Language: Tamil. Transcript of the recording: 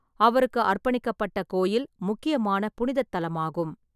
அவருக்கு அர்ப்பணிக்கப்பட்ட கோயில் முக்கியமான புனிதத் தலமாகும்.